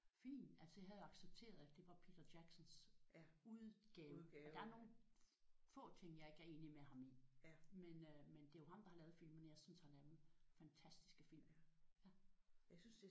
Fin! Altså jeg havde accepteret at det var Peter Jacksons udgave og der er nogle få ting jeg ikke er enig med ham i. Men øh men det er jo ham der har lavet filmene jeg synes det er nogle fantastiske film